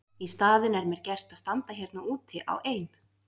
Í staðinn er mér gert að standa hérna úti á ein